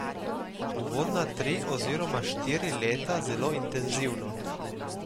Uvodna tri oziroma štiri leta zelo intenzivno.